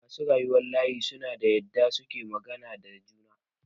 Masu rayuwan layi suna da yadda suke magana da juna.